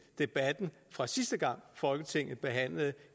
debatten fra sidste gang folketinget behandlede